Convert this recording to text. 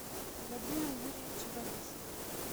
владимир юрьевич борисов